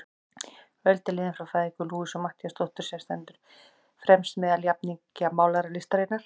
Öld er liðin frá fæðingu Louisu Matthíasdóttur, sem stendur fremst meðal jafningja málaralistarinnar.